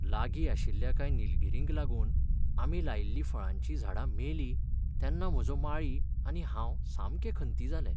लागी आशिल्ल्या कांय निलगीरींक लागूनआमी लायिल्लीं फळांचीं झाडां मेलीं तेन्ना म्हजो माळी आनी हांव सामके खंती जाले.